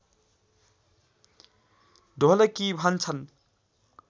ढोलकी भन्छन्